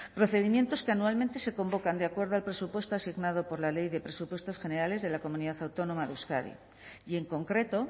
procedimientos que anualmente se convocan de acuerdo al presupuesto asignado por la ley de presupuestos generales de la comunidad autónoma de euskadi y en concreto